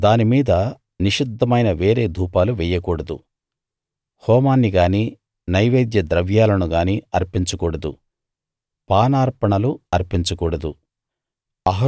దాని మీద నిషిద్ధమైన వేరే ధూపాలు వెయ్యకూడదు హోమాన్ని గానీ నైవేద్య ద్రవ్యాలను గానీ అర్పించకూడదు పానార్పణలు అర్పించ కూడదు